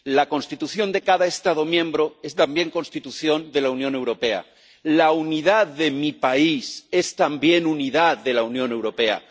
La Constitución de cada Estado miembro es también Constitución de la Unión Europea, la unidad de mi país es también unidad de la Unión Europea.